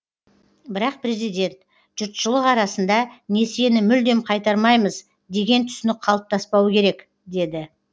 бірақ президент жұртшылық арасында несиені мүлдем қайтармаймыз деген түсінік қалыптаспауы керек деді